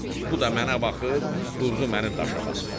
Bu da mənə baxıb durdu məni daşa basmağa.